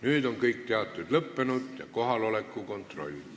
Nüüd on kõik teated üle antud ja teeme kohaloleku kontrolli.